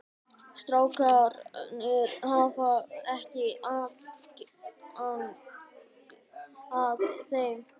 Strákarnir hafa ekki aðgang að þeim?